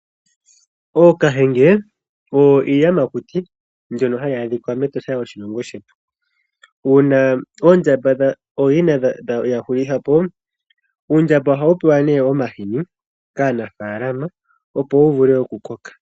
Ookahenge oyo iiyamakuti mbyoka hayi adhika mEtosha lyoshilongo shetu. Uuna oondjamba oyina yahulitha po uundjamba ohawu pewa ne omahini kaanafaalama opo wuvule okukoka.